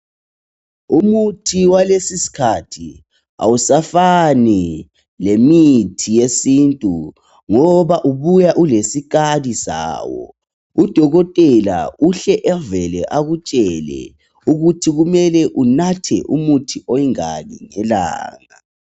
Umuthi walesisikhathi awusafani lemithi yesiNtu ngoba ubuya ulesikali sawo. UDokotela uvela akutshele ukuthi kumele unathe umuthi onganani ngelanga.